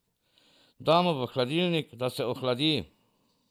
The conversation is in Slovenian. Damo v hladilnik, da se ohladi.